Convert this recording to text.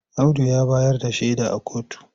Audu ya bayar da shaida a kotu.